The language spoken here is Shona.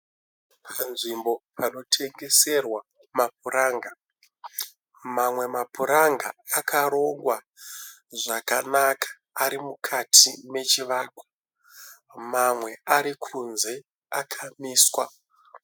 Panzvimbo panotengeserwa mapuranga , mamwe mapuranga akarongwa zvakanaka arimukati mechivakwa, mamwe arikunze akamiswa.